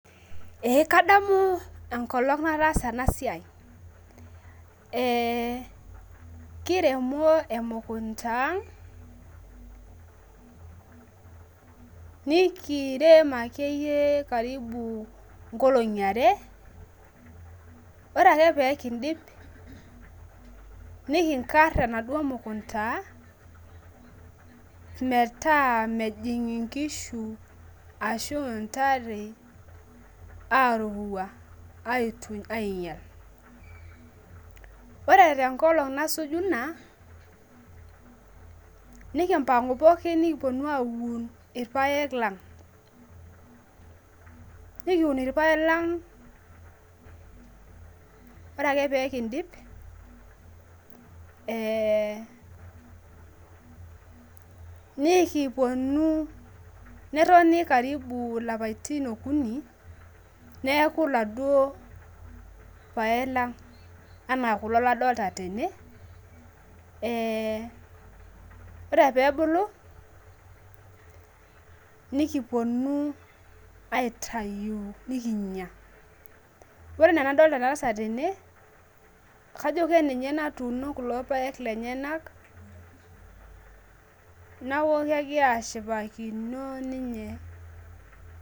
ee kadamu enkolong nataasa ena siai kiremo emukunda ang' nikirem akeyie karibu inkolong'i are, ore ake pee kidip nikinkar enaduo mukunda ang' metaa mejing inkishu ashu intare aarurua aituny ainyial, ore tenkolong' sasuju ina nikimpang'u pooki nikipuo aun ilpayek lang' nikiun ilpayek lang' ore ake pee kidip , netoni karibu ilapaitin okuni neeku iladuo payek lang' anaa kulo ladoolta tene, ore pee ebulu nikipuonu aitayu nikinya ore enaa enadolta ena tasat tene kajo kaninye natuuno kulo payek tene neeku kegira ashipakino.